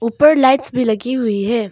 ऊपर लाइट्स मेभी लगी हुई है।